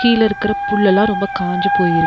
கீழ இருக்கிற புல்லெல்லா ரொம்ப காஞ்சி போயிருக்--